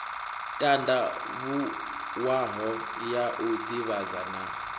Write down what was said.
tandavhuwaho ya u divhadza na